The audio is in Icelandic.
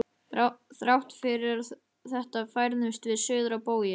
Þrátt fyrir þetta færðumst við suður á bóginn.